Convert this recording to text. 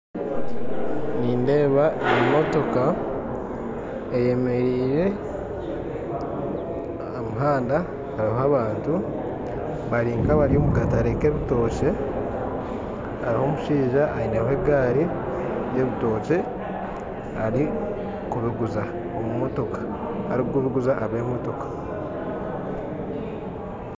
Nindeeba emotoka eyemerire aha muhanda hariho abantu bari nka abari omu kataare k'ebitookye hariho omushaija ayineho egaari y'ebitookye arikubiguza ab'emotoka.